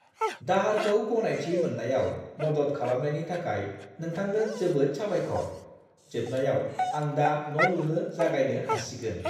दाहारखौ गनायथि मोननायाव मदद खालामनायनि थाखाय नोंथांनो जोबोद साबायखर। जोबनायाव आं दा न' लुनो जागायनो हासिगोन।